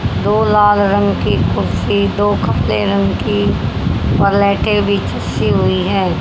दो लाल रंग की कुर्सी दो कपले रंग की बीचसी हुई है।